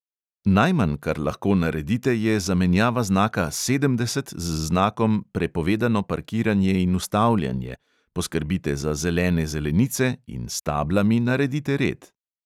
Najmanj, kar lahko naredite, je zamenjava znaka "sedemdeset" z znakom "prepovedano parkiranje in ustavljanje", poskrbite za zelene zelenice in s tablami naredite red.